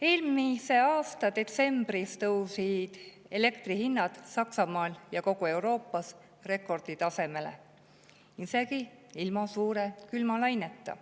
Eelmise aasta detsembris tõusid elektri hinnad Saksamaal ja kogu Euroopas rekordi tasemele, seda isegi ilma suure külmalaineta.